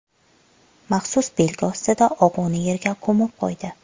Maxsus belgi ostida og‘uni yerga ko‘mib qo‘ydi.